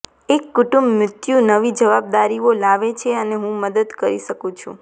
એક કુટુંબ મૃત્યુ નવી જવાબદારીઓ લાવે છે અને હું મદદ કરી શકું છું